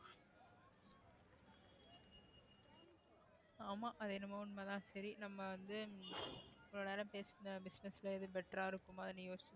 ஆமா அது என்னமோ உண்மைதான் சரி நம்ம வந்து இவ்ளோ நேரம் பேசின business ல எதுவும் better ஆ இருக்குமான்னு யோசிச்சு